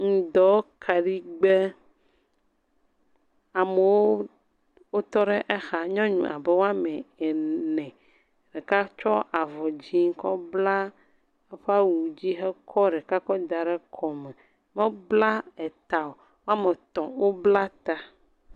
Ŋdɔ kaɖigbe, amewo wotɔ ɖe axa, nyɔnu abe ame ene ɖeka kɔ avɔ dzɛ̃ kɔ bla eƒe awu dzi hekɔ ɖeka kɔ da ɖe kɔme, mebla ta o. Wo ame etɔ̃ wobla ta.